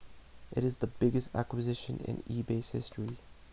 it is the biggest acquisition in ebay's history